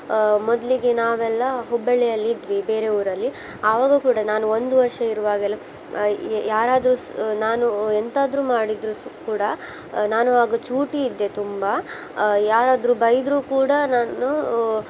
ಆ ಮೊದ್ಲಿಗೆ ನಾವೆಲ್ಲಾ ಹುಬ್ಬಳ್ಳಿಯಲ್ಲಿ ಇದ್ವಿ ಬೇರೆ ಊರಲ್ಲಿ ಆವಾಗು ಕೂಡಾ ನಾನು ಒಂದು ವರ್ಷ ಇರುವಾಗ ಎಲ್ಲ ಆ ಯಾರಾದ್ರು ಸ ನಾನು ಎಂತಾದ್ರು ಮಾಡಿದ್ರು ಸ್~ ಕೂಡಾ ನಾನು ಆಗ ಚೂಟಿ ಇದ್ದೆ ತುಂಬಾ ಆ ಯಾರಾದ್ರು ಬೈದ್ರು ಕೂಡಾ ನಾನು